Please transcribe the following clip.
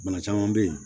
Bana caman bɛ yen